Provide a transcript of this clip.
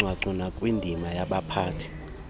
kucwangco nakwindima yabaphathi